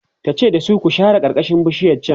tace da su "ku share karkashin bishiyar chan!"